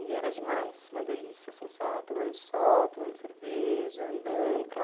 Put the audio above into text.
E era demais, uma delícia, assim, só tomando sol, tomando cerveja, andando para lá.